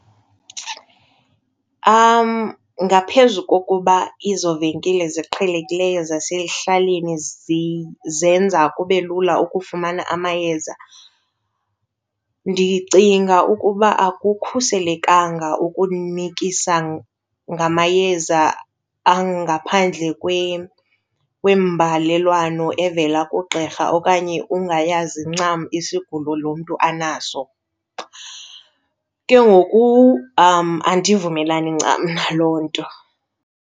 Ngaphezu kokuba ezo venkile ziqhelekileyo zasekuhlaleni zenza kube lula ukufumana amayeza, ndicinga ukuba akukhuselekanga ukunikisa ngamayeza angaphandle kwembalelwano evela kugqirha okanye ungayazi ncam isigulo lo mntu anaso. Ke ngoku andivumelani ncam na loo nto.